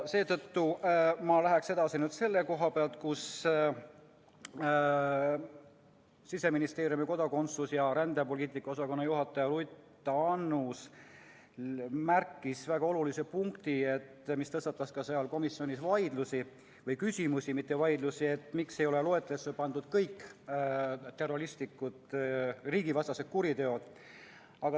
Edasi läheksin selle koha pealt, kus Siseministeeriumi kodakondsus- ja rändepoliitika osakonna juhataja Ruth Annus märkis ära väga olulise punkti, mis tõstatas ka komisjonis küsimusi, miks ei ole loetelusse pandud kõik riigivastased kuriteod.